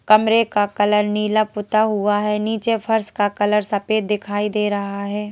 कमरे का कलर नीला पुता हुआ है नीचे फर्श का कलर सफेद दिखाई दे रहा है।